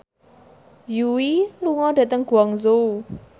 Yui lunga dhateng Guangzhou